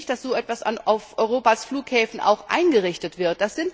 Ich möchte nicht, dass so etwas auch auf Europas Flughäfen eingerichtet wird.